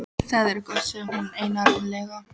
Það er gott sagði hún einarðlega.